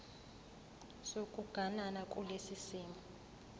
sokuganana kulesi simo